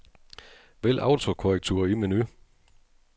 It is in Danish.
Vælg autokorrektur i menu.